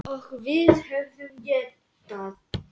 Eins og við höfum getað.